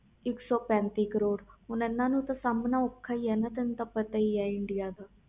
ਇਕ ਸੋ ਪੈਂਤੀ ਕਰੋੜ ਹੁਣ ਇਹਨਾਂ ਨੂੰ ਸਾਮਣਾ ਔਖਾ ਹੀ ਆ ਤੈਨੂੰ ਤੇ ਪਤਾ ਹੀ ਆ ਇੰਡੀਆ ਦਾ